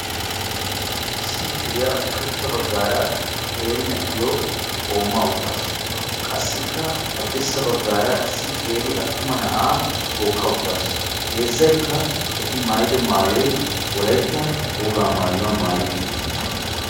Issi mishiriya ushshachcha bagara issi qeera na'aa tookka uttaassu qassikka haddirssa bagan issi guutta na'aa qooma uttaassu.